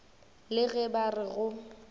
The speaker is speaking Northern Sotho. le ge ba re go